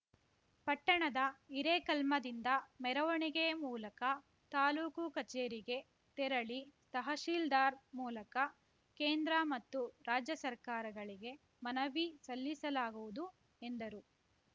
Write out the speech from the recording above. ಪಟ್ಟಣದ ಹಿರೇಕಲ್ಮದಿಂದ ಮೆರವಣಿಗೆ ಮೂಲಕ ತಾಲೂಕು ಕಚೇರಿಗೆ ತೆರಳಿ ತಹಶೀಲ್ದಾರ್‌ ಮೂಲಕ ಕೇಂದ್ರ ಮತ್ತು ರಾಜ್ಯ ಸರ್ಕಾರಗಳಿಗೆ ಮನವಿ ಸಲ್ಲಿಸಲಾಗುವುದು ಎಂದರು